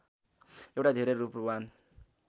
एउटा धेरै रूपवान